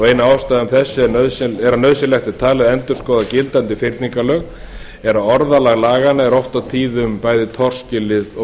ein ástæða þess að nauðsynlegt er talið að endurskoða gildandi fyrningarlög er að orðalag laganna er oft og tíðum bæði torskilið og